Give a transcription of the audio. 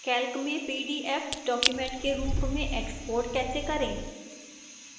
calc में pdf document के रूप में export कैसे करें